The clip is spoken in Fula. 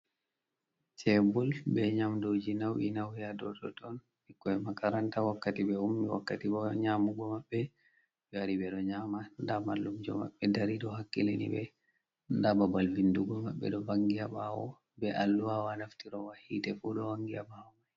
Cebul be nyamduuji naw'i naw'i a dow ton. Ɓikkoy makaranta wakkati ɓe ummi, wakkati bo nyaamugo maɓɓe. Ɓe wari ɓe ɗo nyaama, ndaa mallumjo maɓɓe dari, ɗo hakkilini ɓe, ndaa babal vindugo maɓɓe ɗo vanngi haa ɓaawo, be alluhawa naftirowa yiite fu, ɗo vanngi haa ɓaawo may.